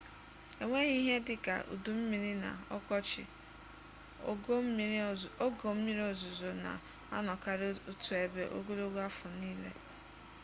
enweghị ihe dị ka udu mmiri na ọkọchị ogo mmiri ozuzo na-anọkarị otu ebe ogologo afọ niile